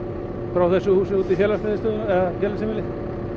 frá þessu húsi út í félagsheimili